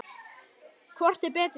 Hvor er betri?